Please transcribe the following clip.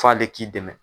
F'ale k'i dɛmɛ